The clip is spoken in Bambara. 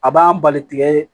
A b'an bali tigɛ